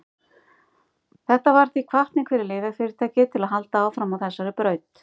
Þetta varð því hvatning fyrir lyfjafyrirtæki til að halda áfram á þessari braut.